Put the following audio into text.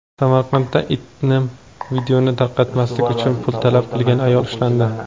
Samarqandda intim videoni tarqatmaslik uchun pul talab qilgan ayol ushlandi.